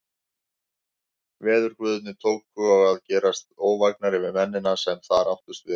Veðurguðirnir tóku og að gerast óvægnari við mennina, sem þar áttust við.